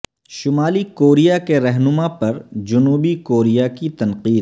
شمالی کوریا کے رہنما پر جنوبی کوریا کی تنقید